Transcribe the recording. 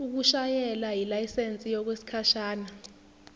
ukushayela yilayisensi yokwesikhashana